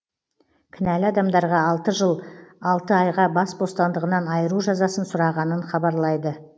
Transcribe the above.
кінәлі адамдарға алты жыл алты айға бас бостандығынан айыру жазасын сұрағанын хабарлайды